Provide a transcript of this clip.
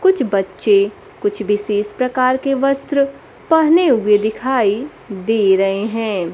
कुछ बच्चे कुछ विशेष प्रकार के वस्त्र पहने हुए दिखाई दे रहे हैं।